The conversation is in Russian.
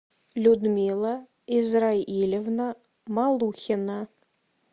людмила израилевна малухина